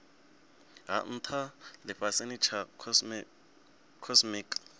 ha ntha lifhasini tsha cosmic